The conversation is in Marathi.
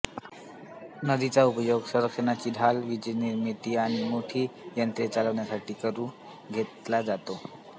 नदीचा उपयोग संरक्षणाची ढाल वीजनिर्मिती आणि मोठी यंत्रे चालवण्यासाठीही करून घेतला जातो